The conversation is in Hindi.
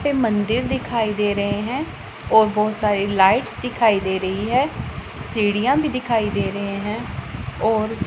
पे मंदिर दिखाई दे रहे है और बहोत सारी लाइट्स दिखाई दे रही है सीढ़ियां भी दिखाई दे रहे हैं और--